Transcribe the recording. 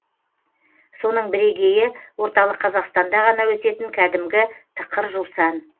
соның бірегейі орталық қазақстанда ғана өсетін кәдімгі тықыр жусан